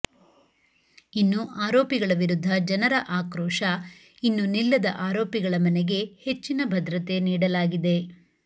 ಇನ್ನು ಆರೋಪಿಗಳ ವಿರುದ್ಧ ಜನರ ಆಕ್ರೋಶ ಇನ್ನು ನಿಲ್ಲದ ಆರೋಪಿಗಳ ಮನೆಗೆ ಹೆಚ್ಚಿನ ಭದ್ರತೆ ನೀಡಲಾಗಿದೆ